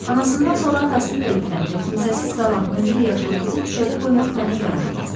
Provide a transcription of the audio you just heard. Anasından sonra atasını da itirən və kimsəsiz qalan 11 yaşlı qızı küçədə qoymaq mənə yaraşmazdı.